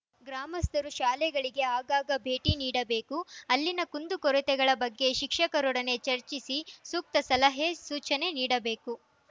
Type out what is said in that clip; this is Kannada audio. ಗ್ರಾಮಸ್ಥರು ಶಾಲೆಗಳಿಗೆ ಆಗಾಗ ಭೇಟಿ ನೀಡಬೇಕು ಅಲ್ಲಿನ ಕುಂದುಕೊರತೆಗಳ ಬಗ್ಗೆ ಶಿಕ್ಷಕರೊಡನೆ ಚರ್ಚಿಸಿ ಸೂಕ್ತ ಸಲಹೆ ಸೂಚನೆ ನೀಡಬೇಕು